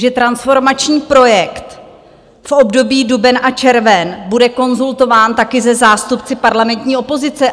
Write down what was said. Že transformační projekt v období duben a červen bude konzultován taky se zástupci parlamentní opozice.